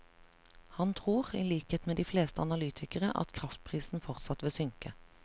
Han tror, i likhet med de fleste analytikere, at kraftprisen fortsatt vil synke.